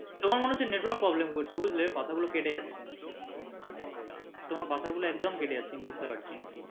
তোমার মনে হচ্ছে network problem করছে বুজলে কথা গুলো কেটে যাচ্ছে তোমার কথা গুলো একদম কেটে যাচ্ছে আমি বুজতে পারছি না।